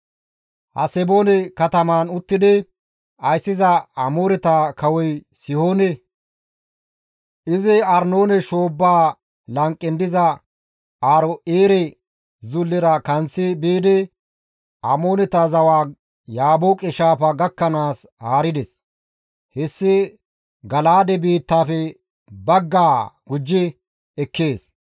Haseboone katamaan uttidi ayssiza Amooreta kawoy Sihoone. Izi Arnoone shoobbaa lanqen diza Aaro7eere zullera kanththi biidi Amooneta zawaa Yaabooqe shaafaa gakkanaas haarides; hessi Gala7aade biittaafe baggaa gujji ekkees.